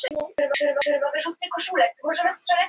Reyr, hvernig er veðrið úti?